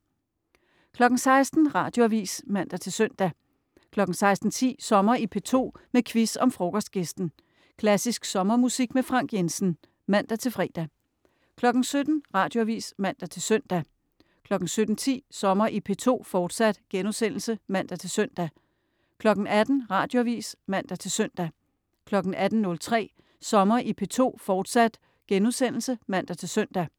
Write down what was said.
16.00 Radioavis (man-søn) 16.10 Sommer i P2, med quiz om Frokostgæsten. Klassisk sommermusik med Frank Jensen (man-fre) 17.00 Radioavis (man-søn) 17.10 Sommer i P2, fortsat* (man-søn) 18.00 Radioavis (man-søn) 18.03 Sommer i P2, fortsat* (man-søn)